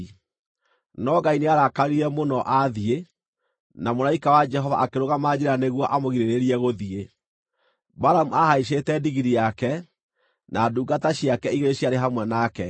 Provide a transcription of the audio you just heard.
No Ngai nĩarakarire mũno athiĩ, na mũraika wa Jehova akĩrũgama njĩra nĩguo amũgirĩrĩrie gũthiĩ. Balamu aahaicĩte ndigiri yake, na ndungata ciake igĩrĩ ciarĩ hamwe nake.